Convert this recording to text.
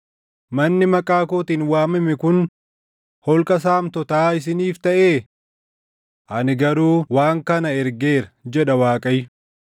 Manni maqaa kootiin waamame kun holqa saamtotaa isiniif taʼee? Ani garuu waan kana ergeera! jedha Waaqayyo.